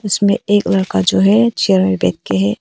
इसमें एक लड़का जो है चेयर पर बैठके है।